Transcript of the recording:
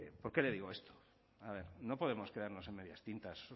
por qué le digo esto a ver no podemos quedarnos en medias tintas